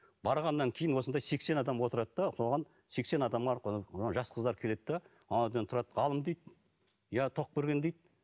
барғаннан кейін осындай сексен адам отырады да оған сексен адам арқылы жас қыздар келеді де ғалым дейді иә тоқберген дейді